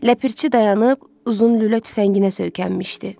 Ləpirçi dayanıb, uzun lülə tüfənginə söykənmişdi.